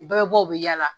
U bɛɛ bɛ bɔ u bɛ yala